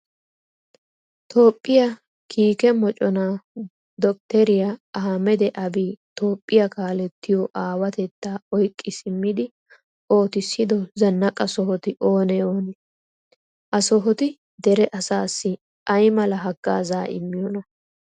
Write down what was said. Toophphiya kiike moconaa doktteriya ahimeda abiyi toophphiya kaalettiyo aawatettaa oyqqi simmidi ootissido zannaqa sohoti oonee oonee? Ha sohoti dere asaassi ay mala haggaazaa immiyonaa?